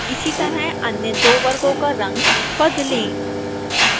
इसी तरह अन्य दो वर्गों का रंग बदलें